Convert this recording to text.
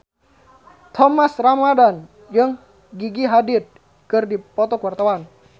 Thomas Ramdhan jeung Gigi Hadid keur dipoto ku wartawan